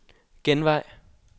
genvej